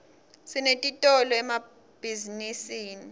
sinetitolo emabhzinisini